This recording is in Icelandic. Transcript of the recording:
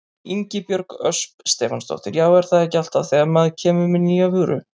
Ingibjörg Ösp Stefánsdóttir: Já er það ekki alltaf þegar maður kemur með nýja vöru?